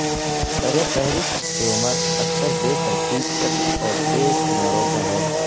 سرفہرست ٹیومر اکثر بے ترتیب شکل اور تیز کناروں میں ہے